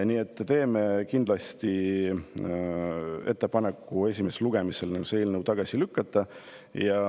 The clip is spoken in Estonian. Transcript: Nii et me teeme kindlasti ettepaneku see eelnõu esimesel lugemisel tagasi lükata.